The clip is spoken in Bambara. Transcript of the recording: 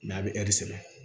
a bɛ sɛbɛ